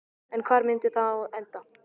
En hvar myndi það þá enda?